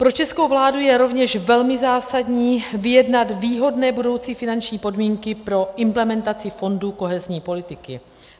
Pro českou vládu je rovněž velmi zásadní vyjednat výhodné budoucí finanční podmínky pro implementaci fondu kohezní politiky.